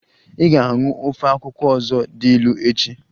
Ị ga-aṅụ ofe akwụkwọ ọzọ dị ilu echi!